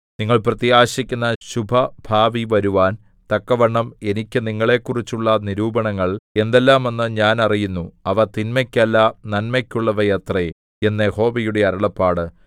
നിങ്ങൾ പ്രത്യാശിക്കുന്ന ശുഭഭാവി വരുവാൻ തക്കവണ്ണം എനിക്ക് നിങ്ങളെക്കുറിച്ചുള്ള നിരൂപണങ്ങൾ എന്തെല്ലാമെന്ന് ഞാൻ അറിയുന്നു അവ തിന്മയ്ക്കല്ല നന്മയ്ക്കുള്ളവയത്രേ എന്ന് യഹോവയുടെ അരുളപ്പാട്